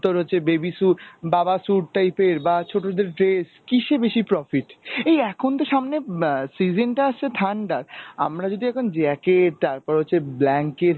তোর হচ্ছে baby suite, বাবা suite টাইপের বা ছোটদের dress কিসে বেশি profit? এই এখন তো সামনে অ্যাঁ season তো আসছে ঠান্ডার. আমরা যদি এখন jacket তারপর হচ্ছে blanket